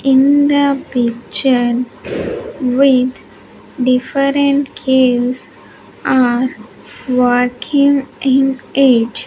in the picture with different caves are working in it.